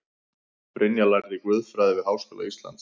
Brynja lærði guðfræði við Háskóla Íslands